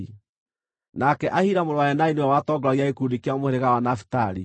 nake Ahira mũrũ wa Enani nĩwe watongoragia gĩkundi kĩa mũhĩrĩga wa Nafitali.